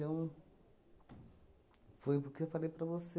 um... Foi o porque eu falei para você